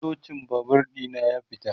Kluchin Babur ɗina ya fita